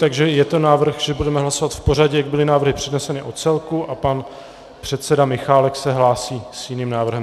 Takže je to návrh, že budeme hlasovat v pořadí, jak byly návrhy předneseny o celku, a pan předseda Michálek se hlásí s jiným návrhem.